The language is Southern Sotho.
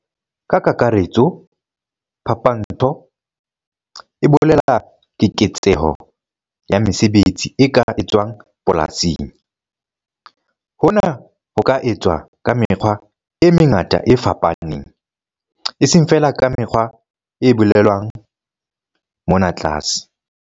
Ka kakaretso, phapantsho e bolela keketseho ya mesebetsi e ka etswang polasing. Hona ho ka etswa ka mekgwa e mengata e fapaneng, eseng feela ka mekgwa e bolelwang mona tlase.